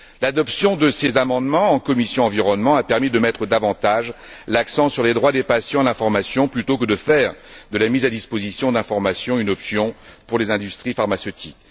L'adoption de ces amendements en commission de l'environnement a permis de mettre davantage l'accent sur les droits des patients à l'information plutôt que de faire de la mise à disposition d'informations une option pour les industries pharmaceutiques.